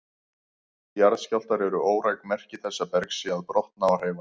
Jarðskjálftar eru óræk merki þess að berg sé að brotna og hreyfast.